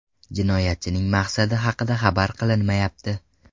Jinoyatchining maqsadi haqida xabar qilinmayapti.